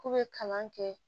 K'u bɛ kalan kɛ